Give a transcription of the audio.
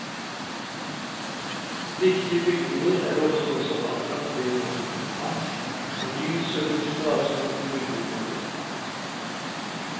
Viktige bygninger er ofte også anlagt ved en offentlig plass, med lys og luft og avstand til bygningene omkring.